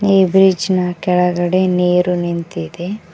ಈ ಬ್ರಿಡ್ಜ್ ನ ಕೆಳಗಡೆ ನೀರು ನಿಂತಿದೆ.